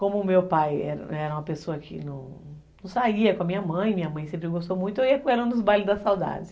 Como o meu pai era uma pessoa que não saía com a minha mãe, minha mãe sempre gostou muito, eu ia com ela nos bailes da saudade.